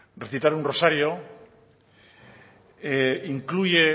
recitar un rosario incluye